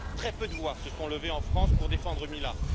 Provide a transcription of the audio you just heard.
Très peu de voix se sont levées en France pour défendre Mila.